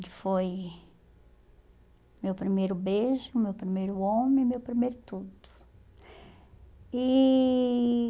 Ele foi... meu primeiro beijo, meu primeiro homem, meu primeiro tudo. E